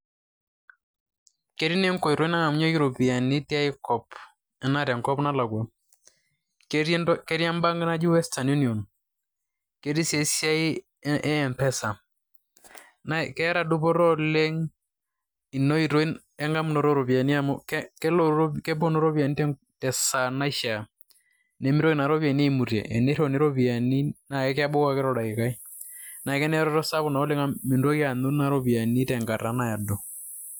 Ketii naa enkoitoi nang'amunyeki ropiyiani tiai kop anaa tenkop nalakwa. Ketii embank naji Western Union, ketii sii esiai e Mpesa. Naa keeta dupoto oleng' ina oitoi eng'amunoto ooropiyiani amu kepuonu ropiyiani tesaa naishiaa, nimitoki naa ropiyiani aimutie, enirriuni ropiyiani naa kebau ake toldaikai, naa keneretoto sapuk oleng' amu mintoki aanyu ropiyiani tenkata naado.